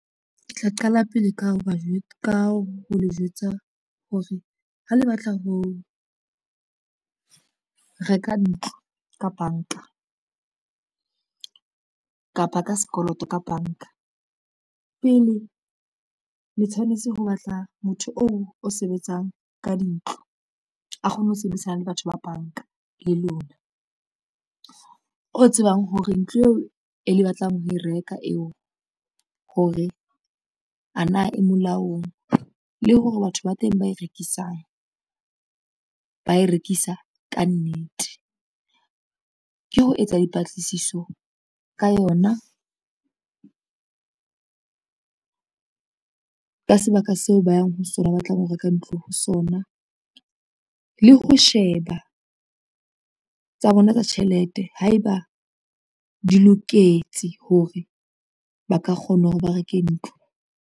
Ke tla qala pele ka ho le jwetsa hore ha le batla ho reka ntlo ka banka kapa ka sekoloto ka banka, pele le tshwanetse ho batla motho oo o sebetsang ka dintlo a kgone ho sebedisana le batho ba banka le lona, o tsebang hore ntlo eo e le batlang ho e reka eo hore a na e molaong, le hore batho ba teng ba e rekisang ba e rekisa ka nnete. Ke ho etsa dipatlisiso ka yona ka sebaka seo ba tlang ho reka ntlo ho sona, le ho sheba tsa bona tsa tjhelete haeba di loketse hore ba ka kgona hore ba reke ntlo.